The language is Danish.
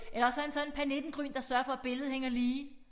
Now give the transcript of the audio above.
Eller også er han sådan pernittengryn der søger for billedet hænger lige